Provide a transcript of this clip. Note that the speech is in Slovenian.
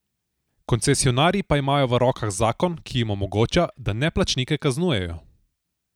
Koncesionarji pa imajo v rokah zakon, ki jim omogoča, da neplačnike kaznujejo.